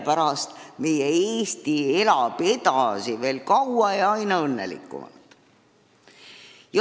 Tänu nendele väärtustele elab meie Eesti veel kaua ja aina õnnelikumalt.